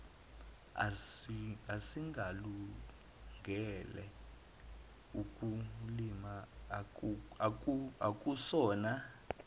esingalungele ukulima akusona